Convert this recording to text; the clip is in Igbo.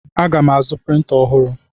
Aga m azụ printa ọhụrụ.